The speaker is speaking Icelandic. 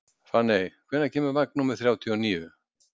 Fanney, hvenær kemur vagn númer þrjátíu og níu?